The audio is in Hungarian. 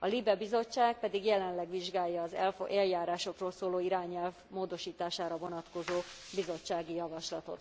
a LIBE bizottság pedig jelenleg vizsgálja az eljárásokról szóló irányelv módosítására vonatkozó bizottsági javaslatot.